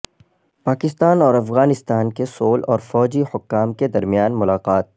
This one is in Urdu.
پاکستان اور افغانستان کے سول اور فوجی حکام کے درمیان ملاقات